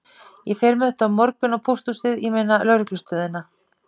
Ég fer með þetta á morgun á pósthúsið, ég meina lögreglustöðina.